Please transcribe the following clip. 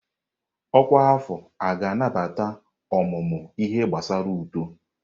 Ọkwa afọ a ga-anabata ọmụmụ ihe gbasara uto?